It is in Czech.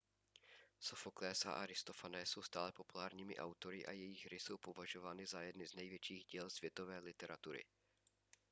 sofoklés a aristofanés jsou stále populárními autory a jejich hry jsou považovány za jedny z největších děl světové literatury